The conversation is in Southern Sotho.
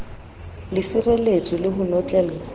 le sireletswe le ho notlellwa